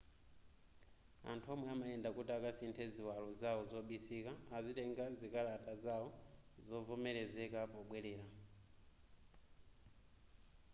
anthu omwe amayenda kuti akasinthe ziwalo zawo zobisika azitenga zikalata zawo zovomelezeka pobwelera